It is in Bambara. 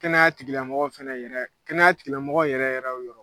Kɛnɛya tigilamɔgɔ fɛnɛ yɛrɛ kɛnɛya tigilamɔgɔ yɛrɛ yɛrɛw yɔrɔ.